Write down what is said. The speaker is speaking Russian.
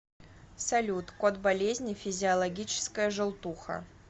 салют код болезни физиологическая желтуха